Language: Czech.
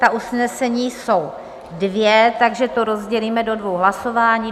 Ta usnesení jsou dvě, takže to rozdělíme do dvou hlasování.